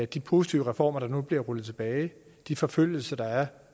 de positive reformer der nu bliver rullet tilbage de forfølgelser der er